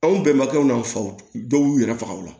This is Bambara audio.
Anw bɛɛ makɛw n'an faw dɔw y'u yɛrɛ faga o la